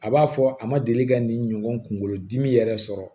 A b'a fɔ a ma deli ka nin ɲɔgɔn kunkolodimi yɛrɛ sɔrɔ